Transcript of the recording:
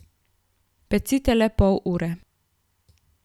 Pecite le pol ure.